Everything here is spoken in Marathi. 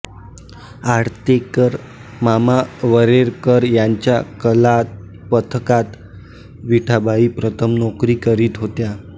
आळतेकर मामा वरेरकर यांच्या कलापथकात विठाबाई प्रथम नोकरी करीत होत्या